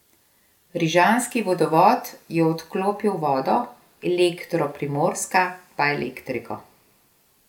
Rižanski vodovod je odklopil vodo, Elektro Primorska pa elektriko.